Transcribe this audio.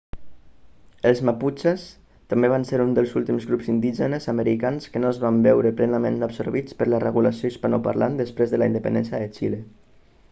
els maputxes també van ser un dels últims grups indígenes americans que no es van veure plenament absorbits per la regulació hispanoparlant després de la independència de xile